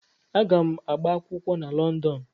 Aga m agba akwụkwọ na Lọndọn.